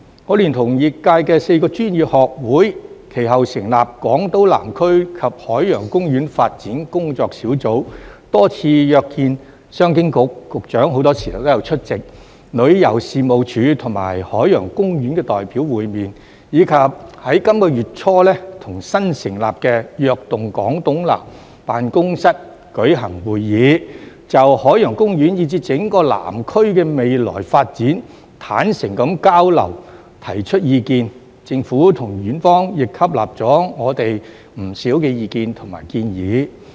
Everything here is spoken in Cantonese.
我聯同業界4個專業學會其後成立港島南區及海洋公園發展工作小組，多次約見商務及經濟發展局——局長很多時候也有出席——旅遊事務署和海洋公園的代表，以及在本月初與新成立的躍動港島南辦公室官員舉行會議，就海洋公園以至整個南區的未來發展坦誠地交流和提出意見，政府和園方亦吸納了我們不少意見和建議。